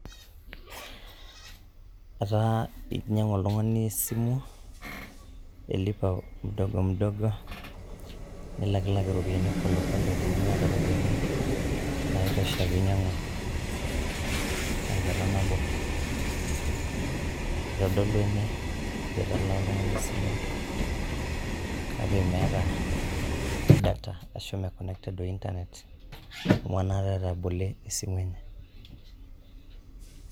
Etaa einyiang'u oltung'ani esimu elipa mudogo mudogo nilak kilak oltung'ani pole pole tenimiata iropiyiani naa eitusha pee einyiang'u teng'ata nabo. Eitodolu ene ajo etalaa oltung'ani esimu kake meeta data ashu Maa connected ointanet amu enaata etabole esimu enye.